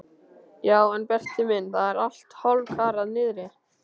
Já en Berti minn, það er allt hálfkarað niðri.